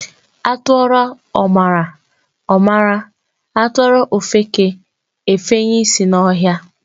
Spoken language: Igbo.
Atụọrọ ọmara, ọ mara. Atụọrọ ofeke, efenye ịsị n'ọhịa.